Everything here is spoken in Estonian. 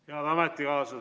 Head ametikaaslased!